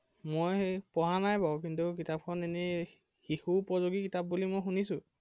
মই পঢ়া নাই বাৰু কিন্তু কিতাপখন এনেই শিশু উপযোগী কিতাপ বুলি শুনিছো।